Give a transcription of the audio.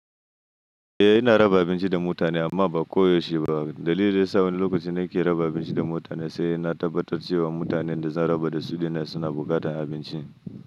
Eh ina raba abinci da mutane amma ba koyaushe ba. Dalilin da yasa wani lokaci nake raba abinci da mutane sai na tabbatar cewa mutanen da zan raba da su dina suna buƙatar abinci.